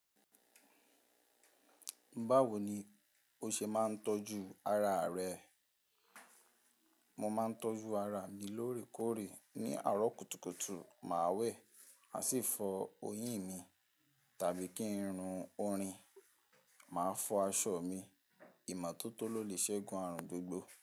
Bawo ni o ṣe máa ń tọ́jú ara rẹ? Mo máa ń tọ́jú ara mi lóòrèkóòrè. Ni àárọ̀ kùtùkùtù, màá wẹ̀, máà sì fọ oyín mi, tàbí kí n run orin, màá fọ aṣọ mi. Ìmọ́tótó ló lè ṣẹ́gun àrùn gbogbo.